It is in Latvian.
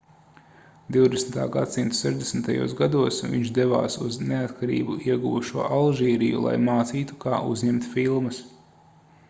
20. gs sešdesmitajos gados viņš devās uz neatkarību ieguvušo alžīriju lai mācītu kā uzņemt filmas